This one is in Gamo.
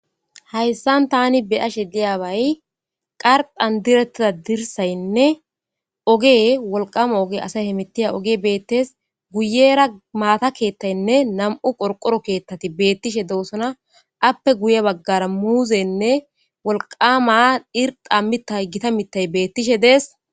hayssan tani beyashe diyaabay qarxan direttida dirsaynne ogee wolqama oge asay he mittiya oge beettes guyera maata keettaynne nam7u qorqoro keettati beettishe doosona appe guye baggara muuzeynne wolqama irxammita gita mitay beettishe dees